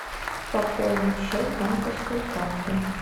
пополнить счет с банковской карты